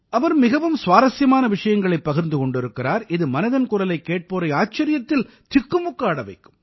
அவர் மிகவும் சுவாரசியமான விஷயங்களைப் பகிர்ந்து கொண்டிருக்கிறார் இது மனதின் குரலைக் கேட்போரை ஆச்சரியத்தில் திக்குமுக்காட வைக்கும்